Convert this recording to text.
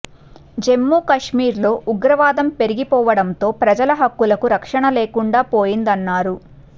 జమ్మూకాశ్మీర్ లో ఉగ్రవాదం పెరిగిపోవడంతో ప్రజల హక్కులకు రక్షణ లేకుండా పోయిందన్నారు